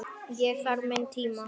Ég þarf minn tíma.